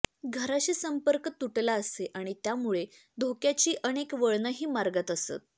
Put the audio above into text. घराशी संपर्क तुटला असेच आणि त्यामुळे धोक्याची अनेक वळणंही मार्गात असत